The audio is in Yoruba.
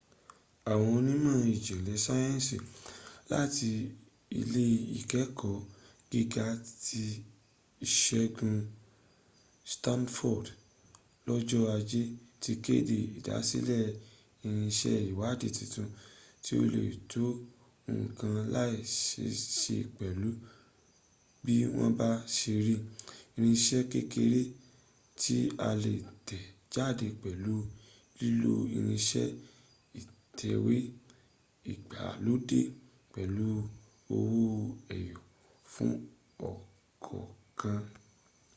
àwọn onímọ̀ ìjìnlẹ̀ sáyẹ̀nsì láti ilé ìkẹ́ẹ̀kọ́ gíga ti ìsègun stanford lọ́jọ́ ajé ti kéde ìdásílẹ̀ irinṣẹ́ ìwádìí tuntun tí ó le tó nǹkan lẹ́sẹẹsẹ pẹ̀lú bí wọ́n bá se rí: irinṣẹ́ kéreké tí a lè tẹ̀ jáde pẹ̀lú lílo irinṣẹ́ ìtẹ̀wé ìgbàlódé pẹ̀lú owó ẹyọ fún ọ̀kọ̀ọ̀kan